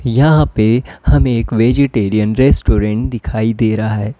यहां पे हमें एक वेजीटेरियन रेस्टोरेंट दिखाई दे रहा है।